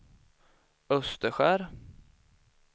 Österskär